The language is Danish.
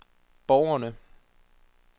borgerne